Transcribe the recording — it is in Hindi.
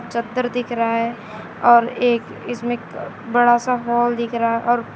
चद्दर दिख रहा है और एक इसमें क बड़ा सा हॉल दिख रहा और पे--